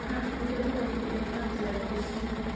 Aakinyire bara-inĩ ĩna njĩra igĩrĩ.